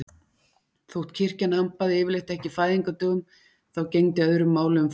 Þótt kirkjan hampaði yfirleitt ekki fæðingardögum þá gegndi öðru máli um fæðingu frelsarans.